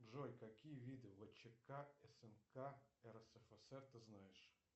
джой какие виды вчк снк рсфср ты знаешь